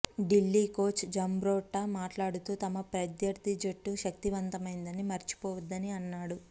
Delhi coach Jambrotta మాట్లాడుతూ తమ ప్రత్యర్థి జట్టు శక్తిమంతమైందని మరిచిపోవద్దని అన్నాడు